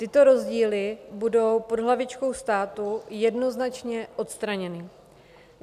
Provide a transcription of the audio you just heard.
Tyto rozdíly budou pod hlavičkou státu jednoznačně odstraněny.